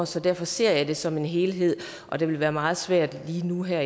så derfor ser jeg det som en helhed og det vil være meget svært lige nu og her